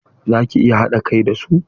Za ki iya haɗa kai da su?